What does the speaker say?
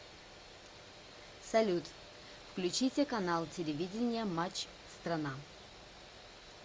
салют включите канал телевидения матч страна